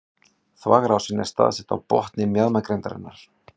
Þvagrásin er staðsett á botni mjaðmagrindarinnar.